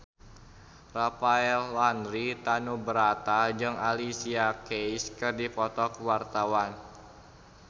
Rafael Landry Tanubrata jeung Alicia Keys keur dipoto ku wartawan